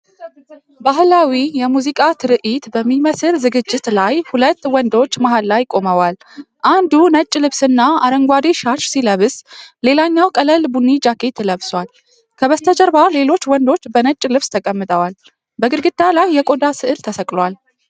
ባህላዊ የሙዚቃ ትርኢት በሚመስል ዝግጅት ላይ ሁለት ወንዶች መሃል ላይ ቆመዋል። አንዱ ነጭ ልብስና አረንጓዴ ሻሽ ሲለብስ፣ ሌላኛው ቀላል ቡኒ ጃኬት ለብሷል። ከበስተጀርባ ሌሎች ወንዶች በነጭ ልብስ ተቀምጠዋል። በግድግዳ ላይ የቆዳ ሥዕል ተሰቅሏል።